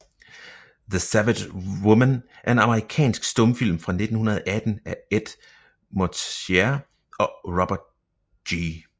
The Savage Woman er en amerikansk stumfilm fra 1918 af Ed Mortimer og Robert G